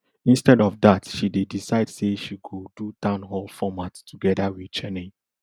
instead of dat she decide say she go do town hall format togeda wit cheney